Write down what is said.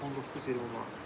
19-20 manat.